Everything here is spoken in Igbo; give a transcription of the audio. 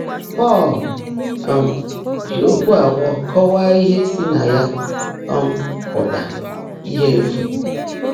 Pọ́l um jị ókwụ́ abụọ́ kọ́wáá íhe sí ná yá um pụ́tá: íhe éfú.